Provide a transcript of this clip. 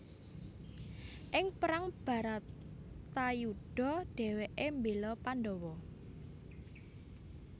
Ing perang Bharatayudha dhèwèké mbéla Pandawa